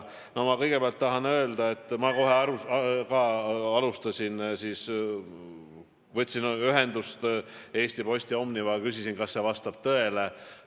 Ma kõigepealt tahan öelda, et ma kohe võtsin ühendust Eesti Posti ehk Omnivaga ja küsisin, kas see vastab tõele.